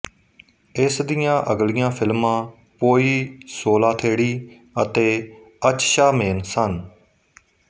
ਇਸ ਦੀਆਂ ਅਗਲੀਆਂ ਫ਼ਿਲਮਾਂ ਪੋਈ ਸੋਲਾਥੇੜੀ ਅਤੇ ਅਚਛਾਮੇਨ ਸਨ